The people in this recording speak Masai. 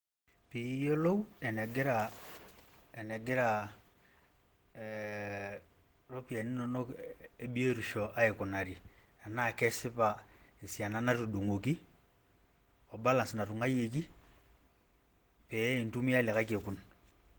piiyiolou enegira, enegira iropyiani inonok ebotisho aikunari, enaa kesipa esian anatudung'oki o balance natung'uayioki pee intumia likae kekun.